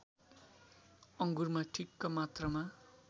अङ्गुरमा ठिक्क मात्रामा